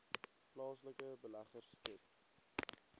plaaslike beleggers skep